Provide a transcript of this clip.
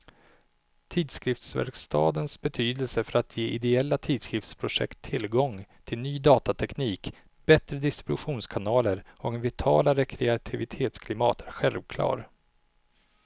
Tidskriftsverkstadens betydelse för att ge ideella tidskriftsprojekt tillgång till ny datateknik, bättre distributionskanaler och ett vitalare kreativitetsklimat är självklar.